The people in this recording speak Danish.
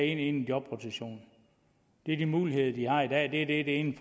en ind i jobrotation det er de muligheder de har i dag det er det det ene